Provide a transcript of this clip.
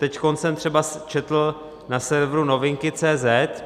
Teď jsem třeba četl na serveru novinky.cz